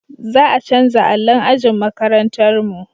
Za a canja allon ajin makarantar mu